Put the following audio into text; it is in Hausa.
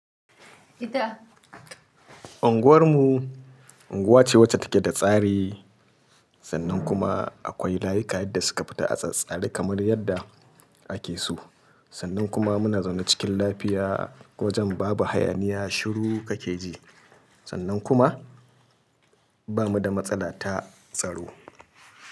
Unguwar mu unguwa ce wacce take da tsari sannan kuma akwai layuka yadda suka fita a tsattsare kamar yadda ake so, sannan kuma muna zaune cikin lafiya wajen babu hayaniya shiru kake ji sannan kuma ba mu da matsala ta tsaro.